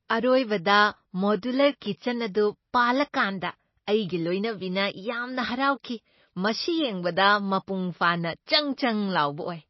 ꯑꯔꯣꯏꯕꯗ modular kitchen ꯑꯗꯨ ꯄꯥꯜꯂꯀꯥꯟꯗ ꯑꯩꯒꯤ ꯂꯣꯏꯅꯕꯤꯅ ꯌꯥꯝꯅ ꯍꯔꯥꯎꯈꯤ꯫ ꯃꯁꯤ ꯌꯦꯡꯕꯗ ꯃꯥꯄꯨꯡ ꯐꯥꯅ ꯆꯪ ꯆꯪ ꯂꯥꯎꯕ ꯑꯣꯏ!